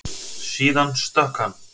Síðan stökk hann.